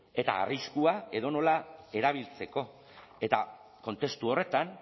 eta arriskua edonola erabiltzeko eta kontestu horretan